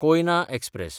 Koyna express